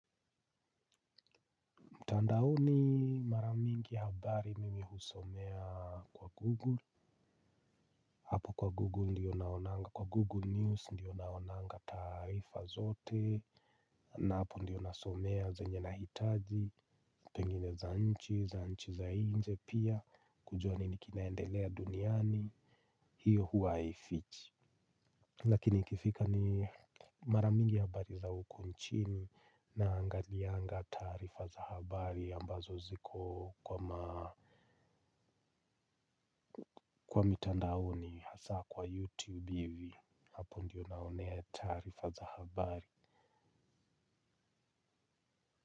Mtandaoni mara mingi habari mimi husomea kwa Google, hapo kwa Google ndiyo naonanga, kwa Google News ndiyo naonanga taarifa zote, na hapo ndiyo nasomea zenye nahitaji, pengine za nchi, za nchi za nje pia, kujua nini kinaendelea duniani, hiyo huwa haifichi. Lakini ikifika ni mara mingi habari za huku nchini naangalianga taarifa za habari ambazo ziko kwa maa kwa mitandaoni hasa kwa YouTube hivi hapo ndiyo naonea taarifa za habari.